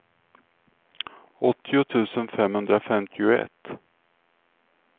åttio tusen femhundrafemtioett